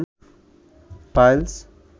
piles